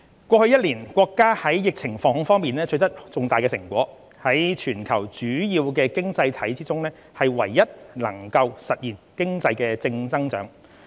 過去一年，國家在疫情防控方面取得重大成果，在全球主要經濟體中唯一能夠實現經濟正增長。